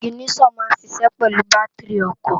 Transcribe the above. Iginiṣòn má n ṣiṣè pèlú bàtirí òkò